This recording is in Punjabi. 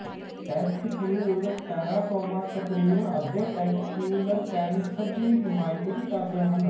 ਟੈਸਟਿਕਉਲਰ ਟੈਰਾਟੋਮਾ ਤਕਰੀਬਨ ਅੱਧੇ ਟੈਸਟਿਕਉਲਰ ਕੈਨ੍ਸਰ ਦੀ ਨੁਮਾਇੰਦਗੀ ਕਰਦੇ ਹਨ